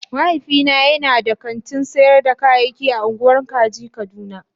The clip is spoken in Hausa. Mahaifina yana da kantin sayar da kayayyaki a ungwan kaje kaduna.